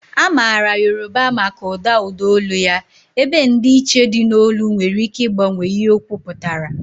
A maara Yoruba maka ụda ụda olu ya, ebe ndịiche dị n'olu nwere ike ịgbanwe ihe okwu pụtara.